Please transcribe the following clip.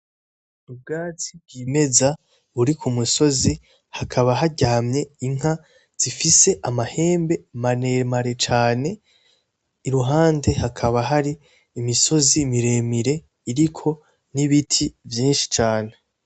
Ubwatsi bwimeza buri kumusozi ,hakaba haryamye inka zifise amahembe maremare cane, iruhande hakaba hari ,imisozi miremire iriko n'ibiti vyinshi cane.